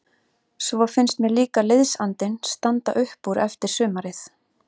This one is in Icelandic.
Svo finnst mér líka liðsandinn standa upp úr eftir sumarið.